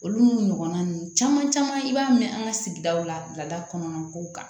Olu n'u ɲɔgɔnna ninnu caman caman i b'a mɛn an ka sigidaw lada kɔnɔna kow kan